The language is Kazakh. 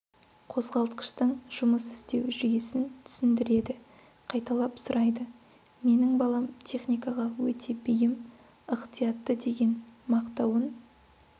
қозғалтқыштың жұмыс істеу жүйесін түсіндіреді қайталап сұрайды менің балам техникаға өте бейім ықтиятты деген мақтауын